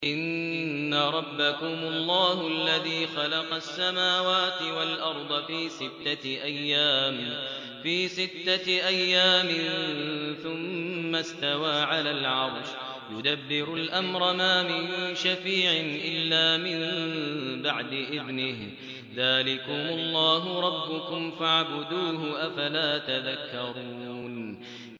إِنَّ رَبَّكُمُ اللَّهُ الَّذِي خَلَقَ السَّمَاوَاتِ وَالْأَرْضَ فِي سِتَّةِ أَيَّامٍ ثُمَّ اسْتَوَىٰ عَلَى الْعَرْشِ ۖ يُدَبِّرُ الْأَمْرَ ۖ مَا مِن شَفِيعٍ إِلَّا مِن بَعْدِ إِذْنِهِ ۚ ذَٰلِكُمُ اللَّهُ رَبُّكُمْ فَاعْبُدُوهُ ۚ أَفَلَا تَذَكَّرُونَ